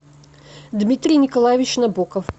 дмитрий николаевич набоков